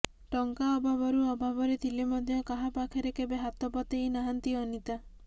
ଟଙ୍କା ଅଭାବରୁ ଅଭାବରେ ଥିଲେ ମଧ୍ୟ କାହାପାଖରେ କେବେ ହାତ ପତେଇ ନାହାନ୍ତି ଅନିତା